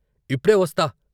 "ఇప్పుడే వస్తా....